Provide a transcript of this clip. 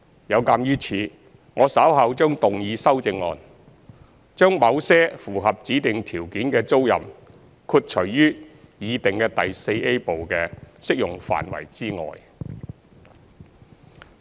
有鑒於此，我稍後將動議修正案，將某些符合指定條件的租賃豁除於擬訂第 IVA 部的適用範圍之外。